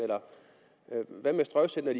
hvad